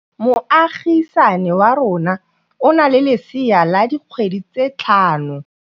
Moagisane wa rona o na le lesea la dikgwedi tse tlhano.